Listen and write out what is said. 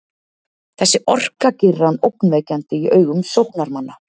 Þessi orka gerir hann ógnvekjandi í augum sóknarmanna.